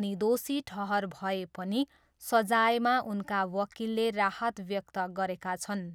अनि दोषी ठहर भए पनि सजायमा उनका वकिलले राहत व्यक्त गरेका छन्।